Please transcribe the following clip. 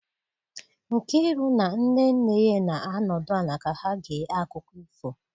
Nkiru na nne nne ya na-anọdụ ala ka ha gee akụkọ ifo